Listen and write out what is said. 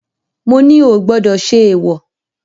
Mo ní o ò gbọdọ̀ ṣe èwọ̀.